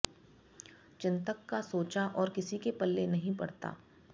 चिंतक का सोचा और किसी के पल्ले नहीं पड़ता